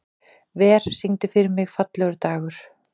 Ver, syngdu fyrir mig „Fallegur dagur“.